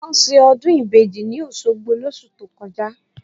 Wọ́n ṣe ọdún ìbejì ní Òṣogbo lóṣù tó kọjá